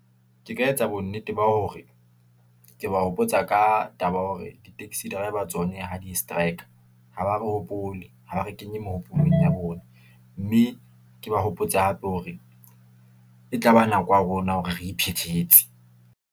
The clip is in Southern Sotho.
Ke ka etsa bo nnete ba hore ke ba hopotsa ka taba ya hore di-taxi driver tsona ha di-strike-r, ha ba re hopole, ha ba re kenye mehopolong ya bona, mme ke ba hopotse hape hore e tlaba nako ya rona hore re iphethetse.